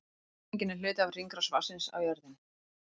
Rigningin er hluti af hringrás vatnsins á jörðinni.